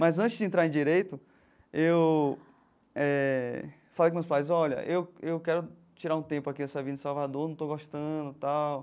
Mas antes de entrar em direito, eu eh falei com meus pais, olha, eu eu quero tirar um tempo aqui dessa vida em Salvador, não estou gostando e tal.